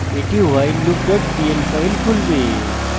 এটি whileloop pl file খুলবে